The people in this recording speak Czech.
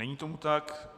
Není tomu tak.